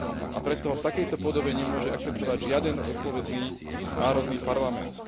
A preto ho v takejto podobe nemôže akceptovať žiaden zodpovedný národný parlament.